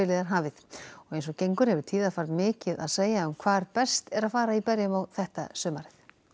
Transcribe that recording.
er hafið og eins og gengur hefur tíðarfar mikið að segja um hvar best er að fara í berjamó þetta sumarið